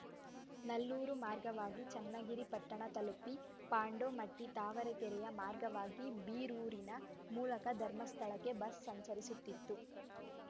ನಲ್ಲೂರು ಮಾರ್ಗವಾಗಿ ಚನ್ನಗಿರಿ ಪಟ್ಟಣ ತಲುಪಿ ಪಾಂಡೋಮಟ್ಟಿ ತಾವರೆಕೆರೆಯ ಮಾರ್ಗವಾಗಿ ಬೀರೂರಿನ ಮೂಲಕ ಧರ್ಮಸ್ಥಳಕ್ಕೆ ಬಸ್‌ ಸಂಚರಿಸುತ್ತಿತ್ತು